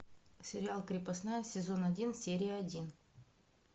сериал крепостная сезон один серия один